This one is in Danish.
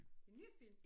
En ny film?